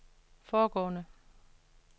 foregående